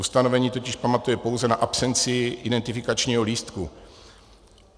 Ustanovení totiž pamatuje pouze na absenci identifikačního lístku.